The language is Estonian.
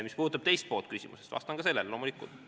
Mis puudutab küsimuse teist poolt, siis vastan ka sellele.